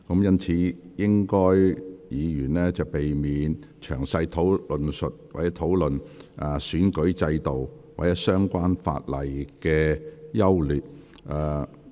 因此，請議員避免詳細論述整體選舉制度或相關法例的優劣。